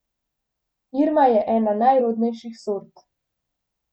Irma je ena najrodnejših sort.